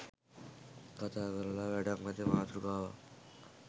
කතා කරලා වැඩක් නැති මාතෘකාවක්